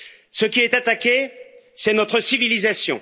Ce qui est attaqué, c'est notre civilisation.